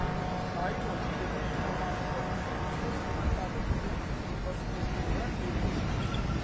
Sahib oldu ki, sən həm özün gedəsən işə, həm də maşın həm də yəni burda baxma təşkil olunub.